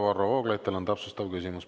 Varro Vooglaid, teil on täpsustav küsimus.